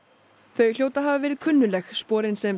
þau hljóta að hafa verið kunnugleg sporin sem